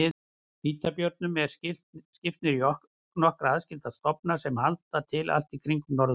Hvítabjörnum er skipt niður í nokkra aðskilda stofna sem halda til allt í kringum norðurpólinn.